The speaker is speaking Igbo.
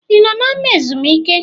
I nọ n’ama ezumike?